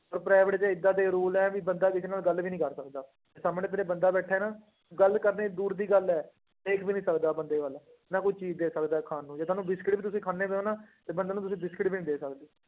ਉਹ private ਚ ਏਦਾਂ ਦੇ rule ਹੈ ਵੀ ਬੰਦਾ ਕਿਸੇ ਨਾਲ ਗੱਲ ਵੀ ਨੀ ਕਰ ਸਕਦਾ, ਜੇ ਸਾਹਮਣੇ ਤੇਰੇ ਬੰਦਾ ਬੈਠਾ ਹੈ ਨਾ ਗੱਲ ਕਰਨੀ ਦੂਰ ਦੀ ਗੱਲ ਹੈ, ਦੇਖ ਵੀ ਨੀ ਸਕਦਾ ਬੰਦੇ ਵੱਲ, ਨਾ ਕੋਈ ਚੀਜ਼ ਦੇ ਸਕਦਾ ਖਾਣ ਨੂੰ ਜੇ ਤੁਹਾਨੂੰ ਬਿਸਕੁਟ ਵੀ ਤੁਸੀਂ ਖਾਂਦੇ ਪਏ ਹੋ ਨਾ, ਤੇ ਬੰਦੇ ਨੂੰ ਤੁਸੀਂ ਬਿਸਕੁਟ ਵੀ ਨੀ ਦੇ ਸਕਦੇ।